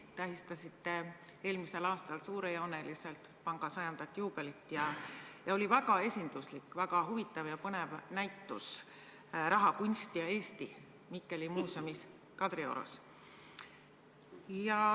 Te tähistasite eelmisel aastal suurejooneliselt panga 100. aastapäeva juubelit ja sel puhul oli väga esinduslik, väga huvitav ja põnev näitus "Rahakunst ja Eesti" Mikkeli muuseumis Kadriorus.